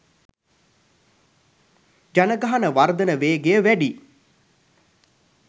ජනගහන වර්ධන වේගය වැඩි